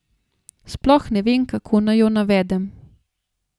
Sploh ne vem, kako naj jo navedem.